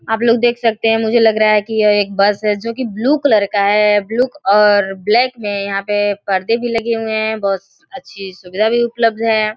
आप लोग देख सकते हैं मुझे लग रहा है कि यह एक बस है जो कि ब्लू कलर का है। ब्लूक और ब्लैक में यहां पे पर्दे भी लगे हुए हैं। बहोत अच्छी सुविधा भी उपलब्ध है।